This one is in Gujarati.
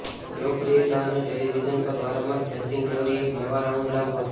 લોકપ્રિયતા અને ટેલિવિઝન પર વારંવાર ફ્લેશિંગ ગ્લોરી એક નવા રાઉન્ડ લાવવા